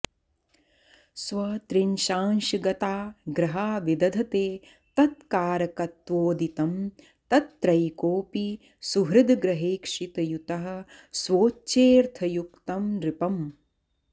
स्वत्रिंशांशगता ग्रहा विदधते तत्कारकत्वोदितं तत्रैकोऽपि सुहृद्ग्रहेक्षितयुतः स्वोच्चेऽर्थयुक्तं नृपम्